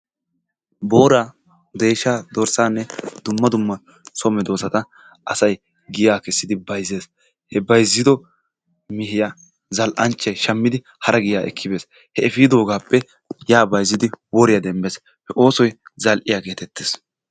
Booraa, deeshshaa, dorssaanne dumma dumma so medoossata asayi giya kessidi bayzzes. He bayzzido mehiya zall'anchchayi shammidi hara giyaa ekkibes. He efiidoogaappe yaa bayzzidi woriya demmes. He oosoyi zall'iya geetettes.